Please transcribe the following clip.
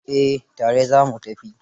Eh, tare za mu tafi.